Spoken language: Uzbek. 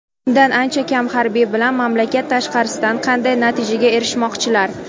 undan ancha kam harbiy bilan mamlakat tashqarisidan qanday natijaga erishmoqchilar.